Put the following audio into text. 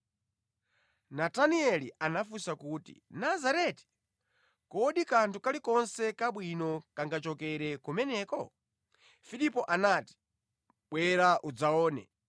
Natanieli anafunsa kuti, “Nazareti! Kodi kanthu kalikonse kabwino kangachokere kumeneko?” Filipo anati, “Bwera udzaone.”